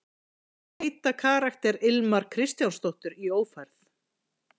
Hvað heitir karakter Ilmar Kristjánsdóttur í Ófærð?